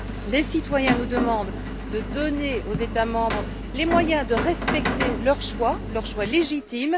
Les citoyens nous demandent de donner aux États membres les moyens de respecter leur choix, leur choix légitime.